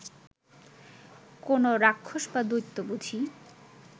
কোনো রাক্ষস বা দৈত্য বুঝি